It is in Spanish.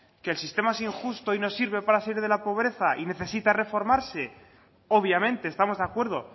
que el sistema es injusto y no sirve para salir de la pobreza y necesita reformarse obviamente estamos de acuerdo